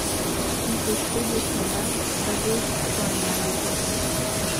In se je spet zasmejal, kažoč svoje male zobe.